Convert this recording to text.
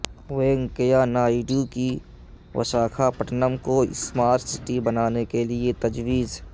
وینکیا نائیڈو کی وشاکھاپٹنم کو smart city بنانے کے لئے تجویز